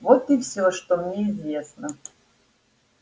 вот и всё что мне известно